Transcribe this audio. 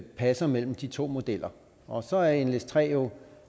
passer mellem de to modeller og så er nles3 jo